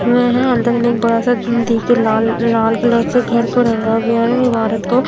अंदर में बड़ा सा धूम दे के लाल लाल कलर से घर को रंगा गया है इमारत को--